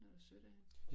Det var da sødt af hende